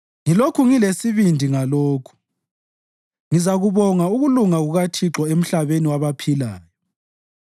Ngilokhu ngilesibindi ngalokhu: ngizakubona ukulunga kukaThixo emhlabeni wabaphilayo.